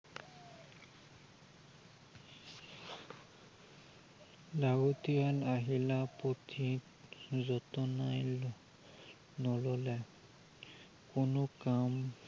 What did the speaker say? যাৱতীয় আহিলা পুথি যতনাই নললে, কোনো কাম